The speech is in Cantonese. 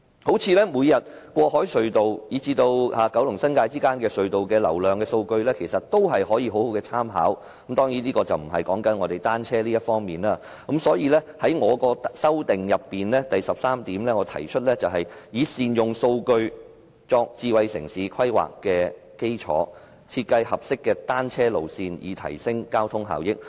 例如，過海隧道以至九龍與新界之間的隧道流量數據，其實有很高的參考價值。所以，我在修正案第點提出"以善用數據作智慧城市規劃為基礎，設計合適的單車路線，以提升交通效益"。